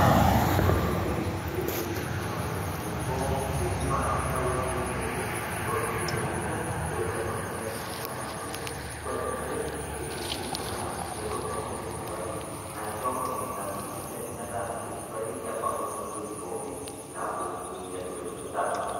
koree enekwe naa piteng'eni iltung'anak eniko ping'úaa ildawai kulo oitemerisho loitaruoo ninje indamunot enye koree eniare piteng]eni iltunganak eniko penyaa ndaiki supati naisho ndamunot enye meta kesupati keparu ntoki poki naaku ndaa supat